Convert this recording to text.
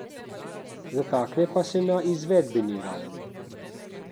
Zatakne pa se na izvedbeni ravni.